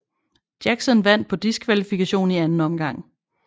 Jackson vandt på diskvalifikation i anden omgang